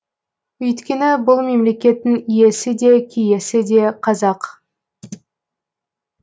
өйткені бұл мемлекеттің иесі де киесі де қазақ